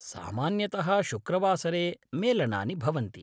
सामान्यतः शुक्रवासरे मेलनानि भवन्ति।